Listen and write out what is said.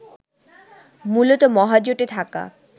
মূলত মহাজোটে থাকা